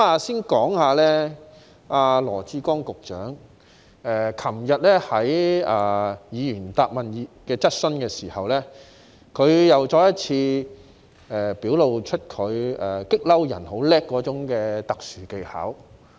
先說說羅致光局長昨天在回答議員質詢時，再次表露出他擅長於激怒人的特殊技巧。